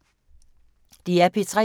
DR P3